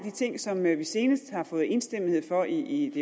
ting som vi senest har fået enstemmighed for i